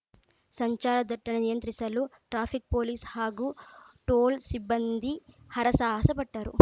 ಸಂಚಾರ ದಟ್ಟಣೆ ನಿಯಂತ್ರಿಸಲು ಟ್ರಾಫಿಕ್‌ ಪೊಲೀಸ್‌ ಹಾಗೂ ಟೋಲ್‌ ಸಿಬ್ಬಂದಿ ಹರಸಾಹಸ ಪಟ್ಟರು